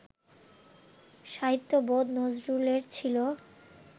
সাহিত্যবোধ নজরুলের ছিল